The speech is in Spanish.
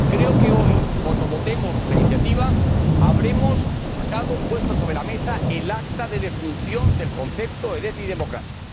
Creo que hoy, cuando votemos la iniciativa, habremos puesto sobre la mesa el acta de defunción del concepto de déficit democrático.